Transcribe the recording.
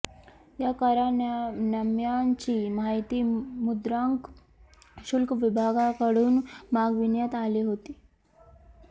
या करारनाम्यांची माहिती मुद्रांक शुल्क विभागाकडून मागविण्यात आले होती